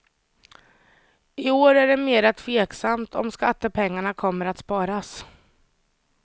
I år är det mera tveksamt om skattepengarna kommer att sparas.